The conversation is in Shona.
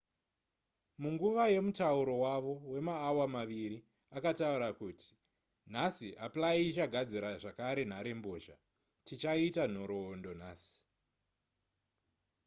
munguva yemutauro wavo wemaawa maviri akataura kuti nhasi apply ichagadzira zvakare nharembozha tichaita nhoroondo nhasi